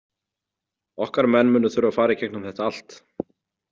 Okkar menn munu þurfa að fara í gegnum þetta allt.